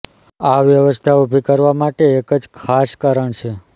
આ વ્યવસ્થા ઉભી કરવા માટે એક જ ખાસ કારણ છે